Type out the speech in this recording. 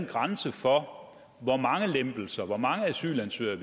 grænse for hvor mange lempelser og hvor mange asylansøgere